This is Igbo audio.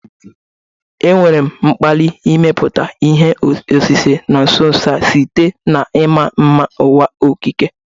Enwere m mkpali ịmepụta ihe osise na nso nso a site na ịma mma nke ụwa okike.